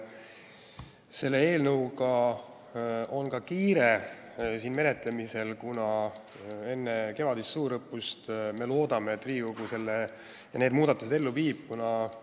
Selle eelnõu menetlemisega on kiire – me loodame, et Riigikogu teeb need muudatused enne kevadist suurõppust.